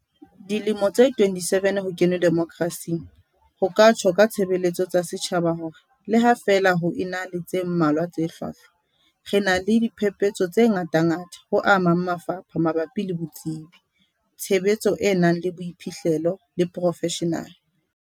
Dilemo tse 27 ho kenwe demokrasing, ho ka tjho ka tshebeletso tsa setjhaba hore le ha feela ho ena le tse mmalwa tse hlwahlwa, re na le diphepetso tse ngatangata ho a mang mafapha mabapi le botsebi, tshebetso e nang le boiphihlelo le profeshenale.